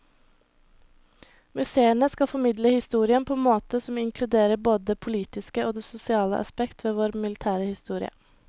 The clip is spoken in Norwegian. Museene skal formidle historien på en måte som inkluderer både det politiske og det sosiale aspekt ved vår militære historie.